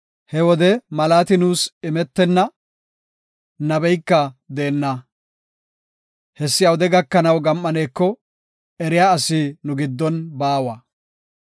He wode malaati nuus imetenna; nabeyka deenna. Hessi awude gakanaw gam7aneko, eriya asi nu giddon baawa.